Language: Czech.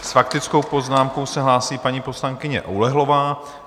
S faktickou poznámkou se hlásí paní poslankyně Oulehlová.